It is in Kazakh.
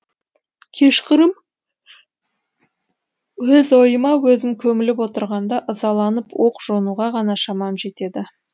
кешқұрым өз ойыма өзім көміліп отырғанда ызаланып оқ жонуға ғана шамам жетеді